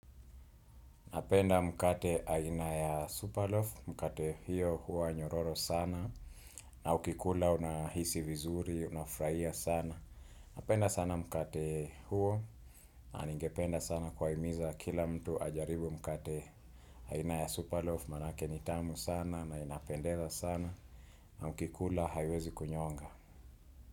Napenda mkate aina ya Superloaf, mkate hiyo huwa nyororo sana, na ukikula unahisi vizuri, unafraia sana. Napenda sana mkate huo, ningependa sana kuwahimiza kila mtu ajaribu mkate aina ya Superloaf, manake ni tamu sana, na inapendeza sana, na ukikula haiwezi kunyonga.